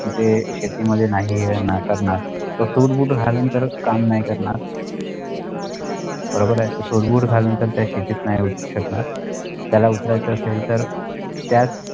तिथे शेतीमध्ये नाही आहे ना करणार तो suit boot घालून तर काम नाही करणार बरोबर आहे तो suit boot घालून तर त्या शेतीत नाही उतरू शकणार त्याला उतरायचा असेल तर त्यात